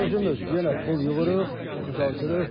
Özümüz yenə pul yığırıq, düzəldirik.